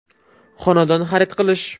Xonadon xarid qilish.